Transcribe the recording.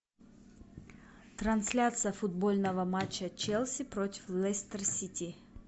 трансляция футбольного матча челси против лестер сити